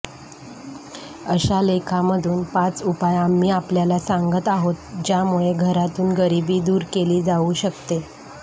अशात लेखांमधून पाच उपाय आम्ही आपल्याला सांगत आहोत ज्यामुळे घरातून गरिबी दूर केली जाऊ शकते